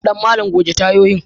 Danmalla goge tayoyin.